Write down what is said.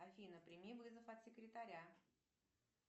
афина прими вызов от секретаря